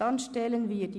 Dann gehen wir so vor.